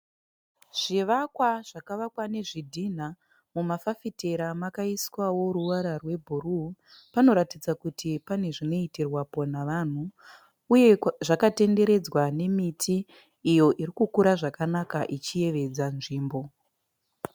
Zvivakwa zvakavakwa nezvidhinha. Mumafafitera makaiswawo ruvara rwebhuruu. Panoratidza kuti pane zvinoitirwapo nevanhu uye zvakatenderedzwa nemiti iyo irikukura zvakanaka ichiyevedza nzvimbo.